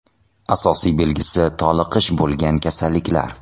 Asosiy belgisi toliqish bo‘lgan kasalliklar.